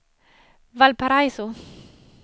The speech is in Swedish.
Valparaiso